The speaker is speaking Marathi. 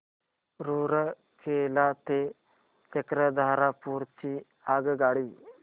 रूरकेला ते चक्रधरपुर ची आगगाडी